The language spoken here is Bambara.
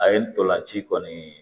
A ye ntolan ci kɔni